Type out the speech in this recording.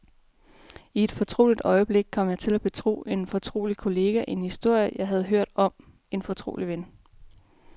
I et fortroligt øjeblik kom jeg til at betro en fortrolig kollega en historie, jeg havde hørt om en fortrolig ven.